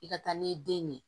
I ka taa n'i ye den ɲɛ